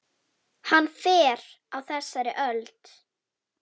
Hann fer á þessari öld.